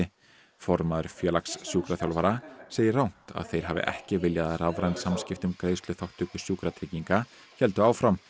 formaður Félags sjúkraþjálfara segir rangt að þeir hafi ekki viljað að rafræn samskipti um greiðsluþátttöku Sjúkratrygginga héldu áfram